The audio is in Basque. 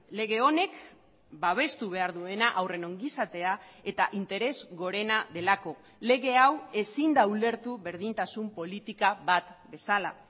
lege honek babestu behar duena haurren ongizatea eta interes gorena delako lege hau ezin da ulertu berdintasun politika bat bezala